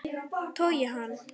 Togi hann.